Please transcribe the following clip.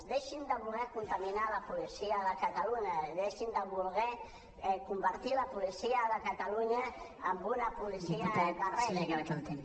deixin de voler contaminar la policia de catalunya deixin de voler convertir la policia de catalunya en una policia de règim